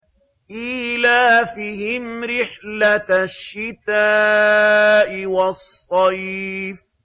إِيلَافِهِمْ رِحْلَةَ الشِّتَاءِ وَالصَّيْفِ